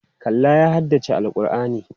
Kallah ya haddace Al'kur'ani.